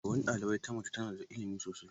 Shugaban ɗalibai ta mace tana da ilimi sosai.